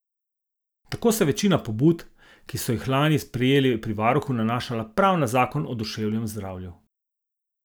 Tako se je večina pobud, ki so jih lani prejeli pri varuhu, nanašala prav na zakon o duševnem zdravju.